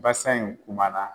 Basan in kumana